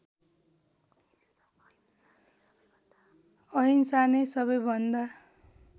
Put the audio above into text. अहिंसा नै सबैभन्दा